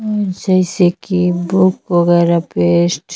जैसे कि बुक वगैरा पेस्ट --